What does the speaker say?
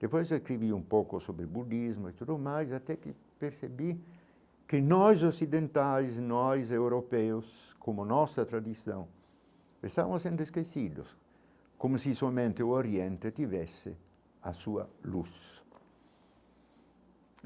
Depois eu escrevi um pouco sobre o budismo e tudo mais até que percebi que nós ocidentais, nós europeus, como a nossa tradição, estavam sendo esquecidos, como se somente o Oriente tivesse a sua luz.